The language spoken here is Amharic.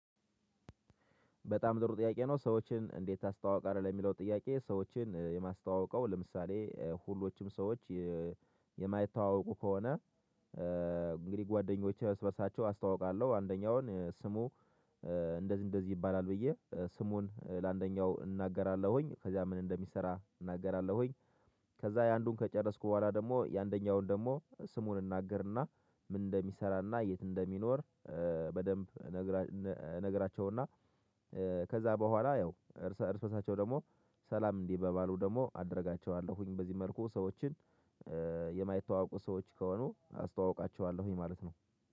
በጣም ጥሩ ጥያቄ ነው? ሰዎችን እንዴት ታስተዋውቃለህ ለሚለው ጥያቄ ሰዎችን የማስተዋውቀው ለምሳሌ ሁሎችም ሰዎች የ የማይታዋወቁ ከሆነ እንግዲህ ጓደኞቼ እስበሳቸው አስታውቃለሁ። አንደኛውን ስሙ እንደዚህ እንደዚህ ይባላል ብዬ ስሙን ለአንደኛው እናገራለሁኝ ከዛ ምን እንደሚሰራ እናገራለሁኝ። ከዛ የአንዱን ከጨረስኩ በኋላ ደግሞ የአንደኛውን ደግሞ ስሙን እናገርና ምን እንደሚሰራና የት እንደሚኖር በደንብ እንግራ እነ እነግራቸውና። ከዛ በኋላ ያው እርስ በእርሳቸው ደግሞ ሰላም እንዲ ባባሉ ደግሞ አደርጋቸዋለሁኝ። በዚህ መልኩ ሰዎችን የማይተዋወቁ ሰዎች ከሆኑ አስተዋውቃቸዋለሁኝ ማለት ነው